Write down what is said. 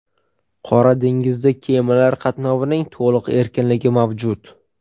Qora dengizda kemalar qatnovining to‘liq erkinligi mavjud.